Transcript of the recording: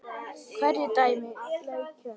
Hverjir dæma leikina?